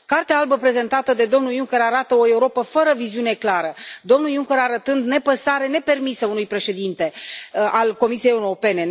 Cartea albă prezentată de domnul Juncker arată o Europă fără o viziune clară, domnul Juncker arătând o nepăsare nepermisă unui președinte al Comisiei Europene.